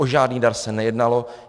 O žádný dar se nejednalo.